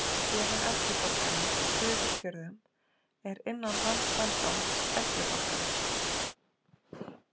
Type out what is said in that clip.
Félag eldri borgara Suðurfjörðum er innan Landssambands eldri borgara